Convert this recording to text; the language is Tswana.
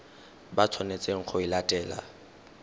ba tshwanetseng go e latela